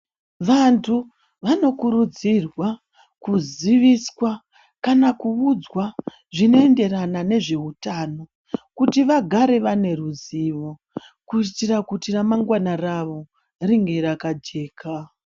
Vantu vanokuridzirwa, kuzivaswa kana kuudzwa zvinoenderana nezveutano kuti vagare vane ruzivo kuitira kuti ramangwana ravo ringe rakajeka.